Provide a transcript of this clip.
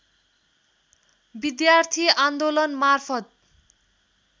विद्यार्थी आन्दोलनमार्फत